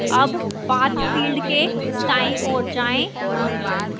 अब path field के दाईं ओर जाएं